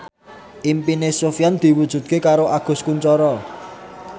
impine Sofyan diwujudke karo Agus Kuncoro